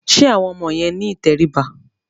Ṣé àwọn ọmọ yẹn ní ìtẹríba?